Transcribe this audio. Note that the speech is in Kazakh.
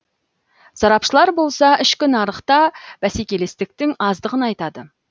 сарапшылар болса ішкі нарықта бәсекелестіктің аздығын айтады